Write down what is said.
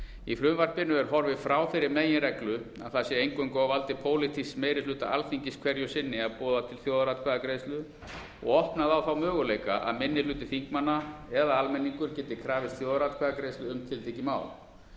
í frumvarpinu er horfið frá þeirri meginreglu að það sé eingöngu á valdi pólitísks meirihluta alþingis hverju sinni að boða til þjóðaratkvæðagreiðslu og opnað á þá möguleika að minni hluti þingmanna eða almenningur geti krafist þjóðaratkvæðagreiðslu um tiltekið mál er